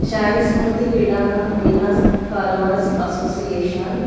शाही स्मृती क्रीडांगण विनस कालवार असोसिएशन --